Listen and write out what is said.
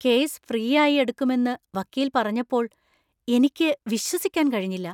Case ഫ്രീയായി എടുക്കുമെന്ന് വക്കീൽ പറഞ്ഞപ്പോൾ എനിക്ക് വിശ്വസിക്കാൻ കഴിഞ്ഞില്ല.